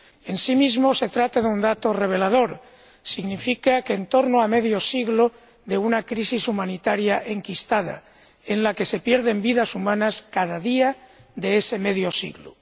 En sí mismo se trata de un dato revelador en torno a medio siglo de una crisis humanitaria enquistada, en la que se pierden vidas humanas cada día de ese medio siglo.